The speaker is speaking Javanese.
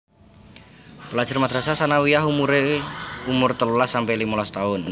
Pelajar madrasah tsanawiyah umumé umur telulas sampe limolas taun